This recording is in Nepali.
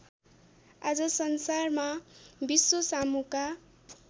आज संसारमा विश्वसामुका